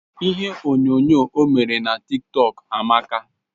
Ihe onyo nyoo o mere n'a TikTok Amaka